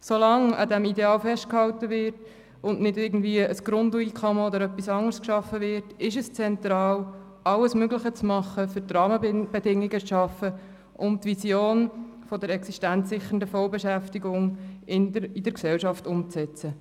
So lange an diesem Ideal festgehalten wird und nicht irgendwie ein Grundeinkommen oder etwas anderes geschaffen wird, ist es zentral, alles Mögliche zu tun, um die Rahmenbedingungen zu schaffen, um die Vision der existenzsichernden Vollbeschäftigung in der Gesellschaft umzusetzen.